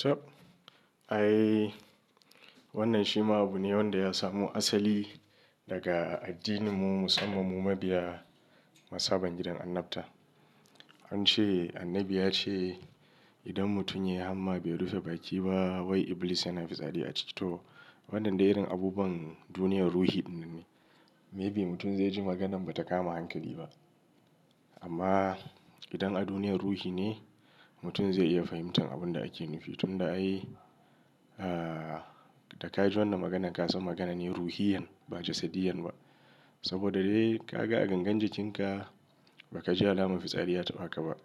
Tabb! Ai wannan shi ma abu ne wanda ya samu asali daga addininmu, musamman mu mabiya mazhaban gidan annabta. An ce Annabi ya ce idan mutum ya yi hamma bai rufe baki ba wai Iblis yana fitsari a cikinsa. To, wannan dai irin abubuwan duniyar ruhi ɗin ne. Maybe mutum zai ji maganan ba ta kama hankali ba amma idan a duniyar ruhi ne, mutum zai iya fahimtar abin da ake nufi. Tun da ai, ah, da ka ji wannan maganan ka san magana ne ruhiyyan ba jasadiyyan ba. Saboda dai ka ga a gangar jikinka ba ka ji alamar fitsari ya taɓa ka ba,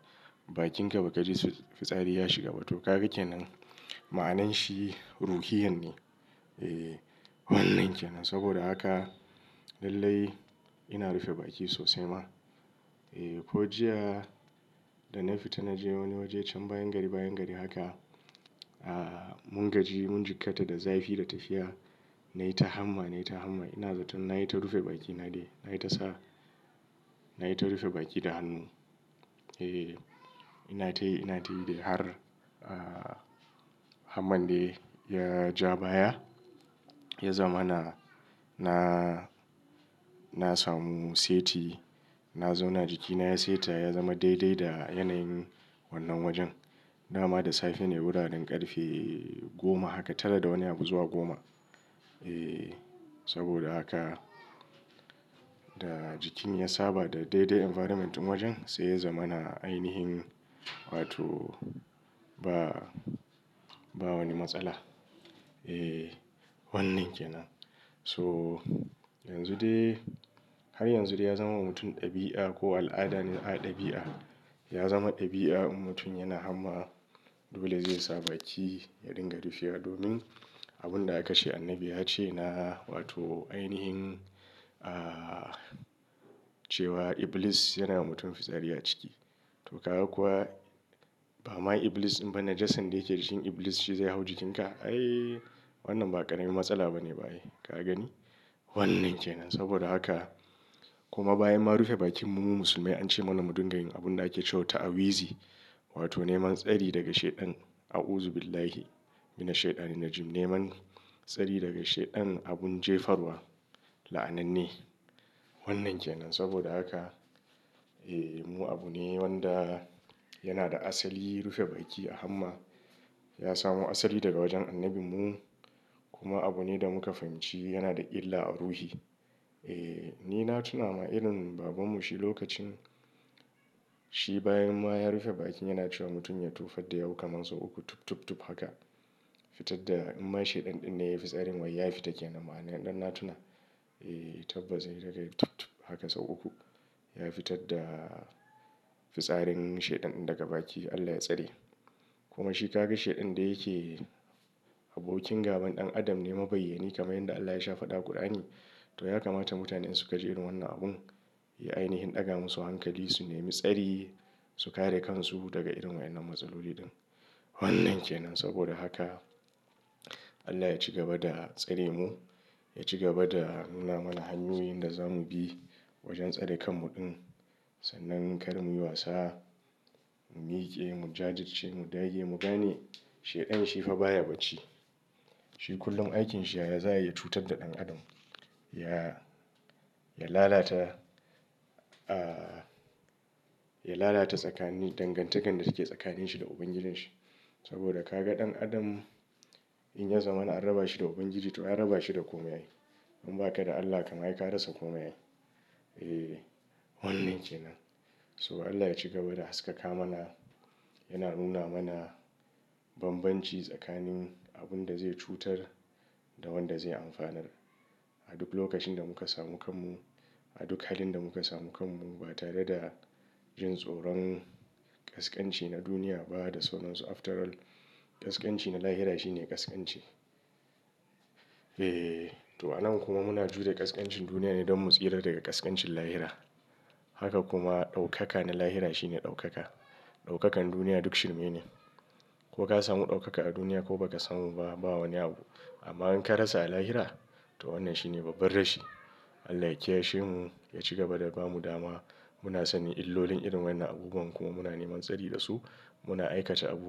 bakinka ba ka ji fitsari ya shiga ba. To, kaga ke nan. Ma'ananshi ruhiyyan ne. E, wannan ke nan. Saboda haka lallai ina rufe bakina sosai ma. E, ko jiya da na fita na je wani waje can bayan gari, bayan gari haka. Ah, mun gaji, mun jikata da zafi da tafiya. Na yi ta hamma, na yi ta hamma. Ina zaton na yi ta rufe bakina dai. Na yi ta sa, na yi ta rufe bakina da hannu. E, ina tayi, ina tayi dai har, hamman dai ya ja baya ya zama na, na, na samu seti. Na zauna jikina ya seta ya zama daidai da yanayin wannan wajen. Dama da safe ne, wuraren ƙarfe goma haka, tara da wani abu zuwa goma. E, saboda haka da jikin ya saba da daidai environment ɗin wajen sai ya zama na ainihin wato ba, ba wani matsala. E, wannan ke nan. So, yanzu dai har yanzu dai ya zama wa mutum ɗabi'a ko al'ada ne. A, ɗabi'a. Ya zama ɗabi'a in mutum yana hamma dole zai sa baki ya dinga rufewa domin abun da aka ce annabi ya ce na wato ainihin, cewa Iblis yana wa mutum fitsari a ciki. To, ka ga kuwa ba ma Iblis imba najasin dake jikin Iblis shi zai hau jikinka. Ai, wannan ba ƙaramin matsala ba ne ba'a yi. Ka gani? Wannan ke nan. Saboda haka kuma bayan ma rufe bakinmu mu musulmai an ce mana mu dinga yin abun da ake ce wa ta'awizi wato neman tsari daga Shaiɗan. A'uzubillahi minash shaiɗhani ar-Rajim. Neman tsari daga Shaiɗan abun jefarwa, la'ananne. Wannan ke nan. Saboda haka, e, mu abu ne wanda yana da asali rufe baki a hamma. Ya samo asali daga wajen annabinmu kuma abu ne da muka fahimci yana da illa a ruhi. E, ni na tuna ma irin babanmu shi lokacin shi bayan ma ya rufe bakin yana cewa mutum ya tufar da yahu kamar sau uku tub, tub, tub haka. Fitar da in ma shaiɗan ɗin ne ya yi fitsarin wai ya fita ke nan. Ma'ana ɗan na tuna. E, tabbas ya yi daga tub, tub haka sau uku. Ya fitar da fitsarin shaiɗan ɗin daga baki Allah ya tsare. Kuma shi ka ga shaiɗan da yake abokin gaban ɗan Adam ne, mabayyani kamar yanda Allah ya sha faɗa a ƙur'ani. To, ya kamata mutane in su ka ji irin wannan abun, ya ainihin ɗaga musu hankali su nemi tsari, su kare kansu daga irin wa'yannan matsaloli ɗin. Wannan ke nan. Saboda haka Allah ya ci gaba da tsare mu, ya ci gaba da nuna mana hanyoyin da za mu bi wajen tsare kanmu ɗin. Sannan kar mu yi wasa, mu miƙe, mu jajirce, mu dage, mu gane shaiɗan shi fa baya bacci. Shi kullum aikinsa yaya za'ayi ya cutar da ɗan Adam. Ya, ya lalata, ya lalata tsakanin dangantakar da take tsakanin shi da ubangijin shi. Saboda ka ga ɗan Adam in ya zamana an raba shi da ubangiji to an raba shi da komai ai. In ba ka da Allah kam ai ka rasa komai. E, wannan ke nan. So Allah ya ci gaba da haskaka mana, yana nuna mana banbanci tsakanin abun da zai cutar da wanda zai amfanar. A duk lokacin da muka samu kanmu, a duk halin da muka samu kanmu ba tare da jin tsoron ƙasƙanci na duniya ba da sauransu. After all, ƙasƙanci na lahira shi ne ƙasƙanci. E, to a nan kuma muna jure ƙasƙancin duniya ne don mu tsira daga ƙasƙancin lahira. Haka kuma ɗaukaka na lahira shi ne ɗaukaka. Ɗaukakan duniya duk shirme ne. Ko ka samu ɗaukaka a duniya ko ba ka samu ba, ba wani abu. Amma in ka rasa a lahira to wannan shine babban rashi Allah ya kiyashi mu, ya ci gaba da bamu dama. Muna sanin illolin irin wannan abubuwan kuma muna neman tsari da su. Muna aikata abu.